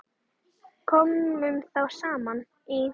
Komu þá saman í